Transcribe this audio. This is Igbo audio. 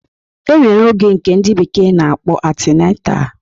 E nwere oge nke ndị bekee na-akpọ antinantal